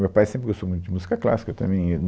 Meu pai sempre gostou muito de música clássica, eu também